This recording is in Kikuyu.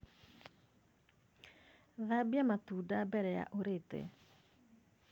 Thambia matunda mbere ya ūrīte.